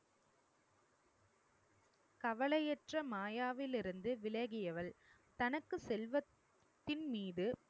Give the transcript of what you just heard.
கவலையற்ற மாயாவிலிருந்து விலகியவள். தனக்கு செல்வத்தின் மீது